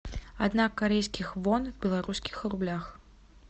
одна корейских вон в белорусских рублях